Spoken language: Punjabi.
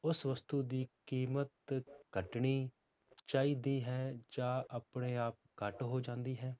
ਉਸ ਵਸਤੂ ਦੀ ਕੀਮਤ ਘੱਟਣੀ ਚਾਹੀਦੀ ਹੈ ਜਾਂ ਆਪਣੇ ਆਪ ਘੱਟ ਹੋ ਜਾਂਦੀ ਹੈ